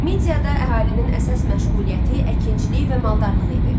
Midiyada əhalinin əsas məşğuliyyəti əkinçilik və maldarlığı idi.